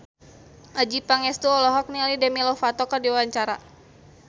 Adjie Pangestu olohok ningali Demi Lovato keur diwawancara